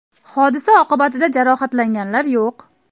Hodisa oqibatida jarohatlanganlar yo‘q.